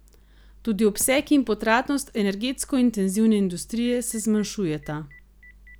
Tudi obseg in potratnost energetsko intenzivne industrije se zmanjšujeta.